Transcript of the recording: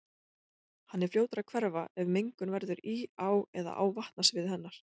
Hann er fljótur að hverfa ef mengun verður í á eða á vatnasviði hennar.